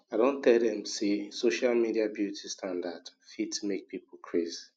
i don tel dem say social media beauty standard fit make people craze